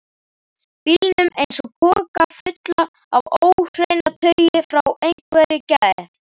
bílnum eins og poka fullan af óhreinataui frá einhverri geð